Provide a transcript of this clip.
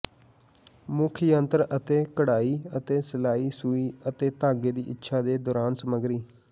ਮੁੱਖ ਯੰਤਰ ਅਤੇ ਕਢਾਈ ਅਤੇ ਸਿਲਾਈ ਸੂਈ ਅਤੇ ਧਾਗੇ ਦੀ ਇੱਛਾ ਦੇ ਦੌਰਾਨ ਸਮੱਗਰੀ